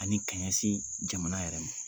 Ani ka ɲɛsin jamana yɛrɛ ma.